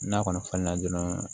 N'a kɔni falenna dɔrɔn